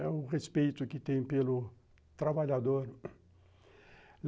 É o respeito que tem pelo trabalhador.